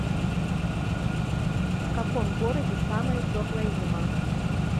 в каком городе самая теплая зима